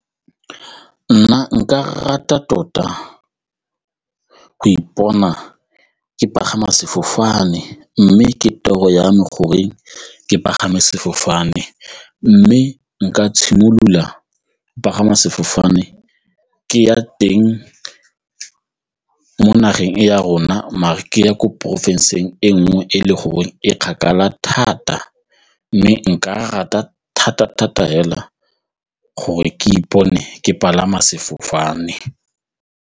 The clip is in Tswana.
Nna nka rata tota go ipona ke pagama sefofane mme ke toro ya me gore ke pagama sefofane mme nka tshimolola go pagama sefofane ke ya teng mo nageng e ya rona mare ke ya ko porofenseng e nngwe e le gore e kgakala thata mme nka rata thata-thata fela gore ke ipone ke palama sefofane.